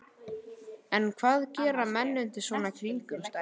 En hvað gera menn undir svona kringumstæðum?